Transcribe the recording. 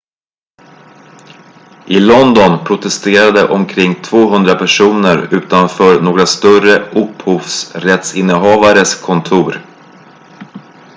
i london protesterade omkring 200 personer utanför några större upphovsrättsinnehavares kontor